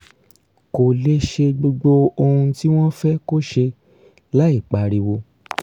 kó lè ṣe gbogbo ohun tí wọ́n fẹ́ kó ṣe láìpariwo